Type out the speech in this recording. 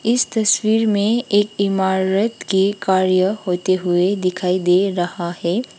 इस तस्वीर में एक इमारत की कार्य होते हुए दिखाई दे रहा है।